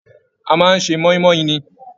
A máa n ṣe moimoi ní.